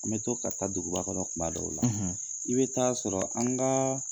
An bɛ to ka ta duguba kɔnɔ kuma dɔw la i bɛ taa sɔrɔ an ka